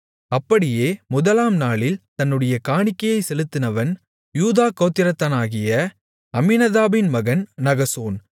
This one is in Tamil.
அப்படியே முதலாம் நாளில் தன்னுடைய காணிக்கையைச் செலுத்தினவன் யூதா கோத்திரத்தானாகிய அம்மினதாபின் மகன் நகசோன்